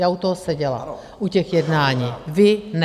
Já u toho seděla, u těch jednání, vy ne.